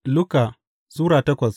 Luka Sura takwas